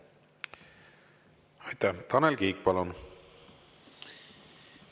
Tanel Kiik, palun!